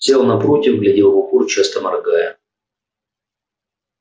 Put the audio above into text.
сел напротив глядел в упор часто моргая